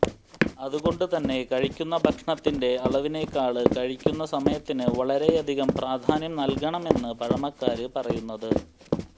അതുകൊണ്ട് തന്നെ കഴിക്കുന്ന ഭക്ഷണത്തിന്റെ അളവിനേക്കാള് കഴിക്കുന്ന സമയത്തിന് വളരെയധികം പ്രാധാന്യം നല്കണമെന്ന് പഴമക്കാര് പറയുന്നത്